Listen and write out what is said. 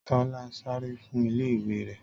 Tọ́lá sáré fún ilé ìwé rẹ̀